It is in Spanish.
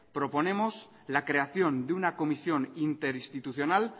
proponemos la creación de una comisión interinstitucional